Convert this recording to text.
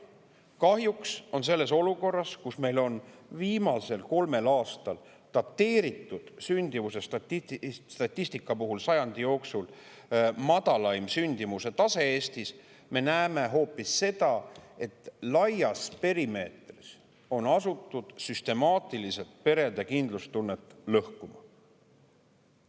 Kahjuks on selles olukorras, kus meil on viimasel kolmel aastal dateeritud sündimuse statistika puhul sajandi jooksul madalaim sündimuse tase Eestis, me näeme hoopis seda, et laias perimeetris on asutud süstemaatiliselt perede kindlustunnet lõhkuma.